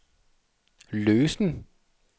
løsen